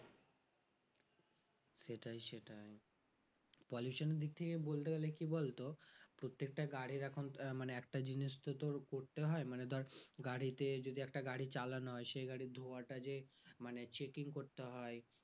সেটাই সেটাই pollution এর দিক থেকে বলতে গেলে কি বলতো প্রত্যেকটা গাড়ির এখন আহ মানে একটা জিনিস তো তোর করতে হয় মানে ধর গাড়িতে যদি একটা গাড়ি চালানো হয় সেই গাড়ি ধোয়াটা যে মানে checking করতে হয়